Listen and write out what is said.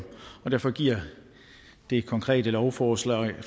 og derfor giver det konkrete lovforslag